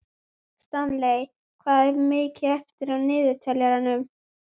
Stanley, hvað er mikið eftir af niðurteljaranum?